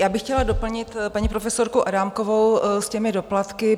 Já bych chtěla doplnit paní profesorku Adámkovou s těmi doplatky.